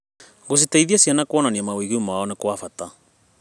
Gũciteithia ciana kuonania mawĩgwi mao nĩ gwa bata.